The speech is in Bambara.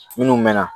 Minnu mɛɛnna